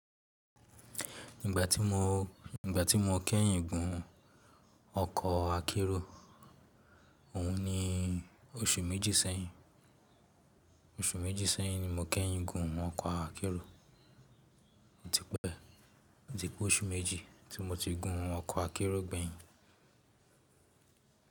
Ígbà tí mo, ígbà tí mo kẹ́yìn gùn ọkọ̀ akérò, òun ni oṣù méjì sẹ́yìn. Oṣù méjì sẹ́yìn ni mo kẹ́yìn gùn ọkọ̀ akérò. Ó ti pẹ́, ó ti pé oṣù méjì tí mo ti gùn ọkọ̀ akérò gbẹ̀yìn.